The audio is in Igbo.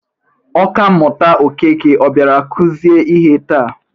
Oka mmụta Okeke ọ bịara kuzie ihe taa?